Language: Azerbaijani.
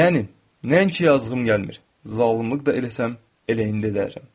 Yəni nəinki yazığım gəlmir, zalımlıq da eləsəm, elə indi edərəm.